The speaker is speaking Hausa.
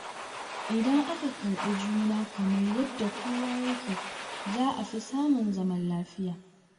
Idan aka karɓi juna kamar yadda kowa yake, za a fi samun zaman lafiya.